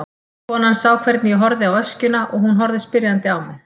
Konan sá hvernig ég horfði á öskjuna og hún horfði spyrjandi á mig.